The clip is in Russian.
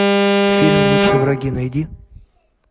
фильм лучшие враги найди